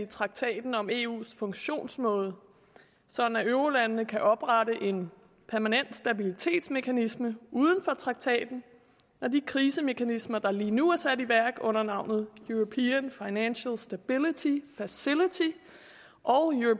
i traktaten om eus funktionsmåde sådan at eurolandene kan oprette en permanent stabilitetsmekanisme uden for traktaten når de krisemekanismer der lige nu er sat i værk under navnet european financial stability facility og